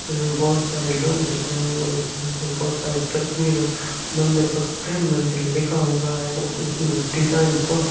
इसमें बहुत सारे लोग दिख रहे हैं और इस मंदिर में बहुत तस्वीरे मंदिर पर प्रेम मंदिर लिखा हुआ है उसमे --